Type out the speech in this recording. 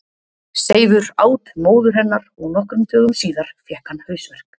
Seifur át móður hennar og nokkrum dögum síðar fékk hann hausverk.